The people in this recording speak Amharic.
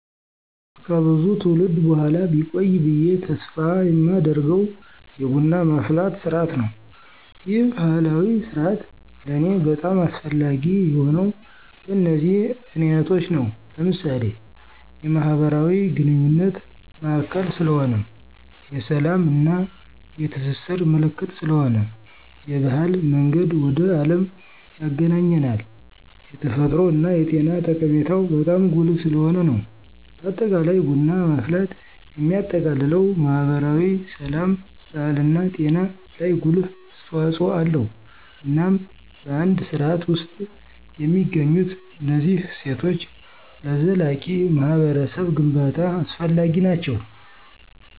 ከብዙ ትውልድ በኋላ ቢቆይ ብየ ተስፍ የማደርገው የቡና ማፍላት ስርዓት ነው። ይህ ባህላዊ ስርአት ለኔ በጣም አስፈላጊ የሆነው በነዚህ ምክንያቶች ነው። ለምሳሌ፦ የማህበራዊ ግንኙነት ማዕከል ስለሆነ፣ የስላም እና የትስስር ምልክት ስለሆነ፣ የባህል መንገድ ወደ አለም ያግናኘናል፣ የተፈጥሮ እና የጤና ጠቀሜታው በጣም ጉልህ ስለሆነ ነው። በአጠቃላይ ቡና ማፍላት የሚያጠቃልለው ማህበራዊ፣ ስላም፣ ባህልና ጤና ላይ ጉልህ አስተዋጽኦ አለው። እናም በአንድ ስርዓት ውስጥ የሚገኙት እነዚህ እሴቶች ለዘላቂ ማህበረሰብ ግንባታ አስፈላጊ ናቸው።